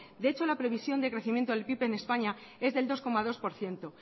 de hecho la previsión de crecimiento del pib en españa es del dos coma dos por ciento